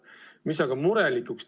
Üks asi aga teeb murelikuks.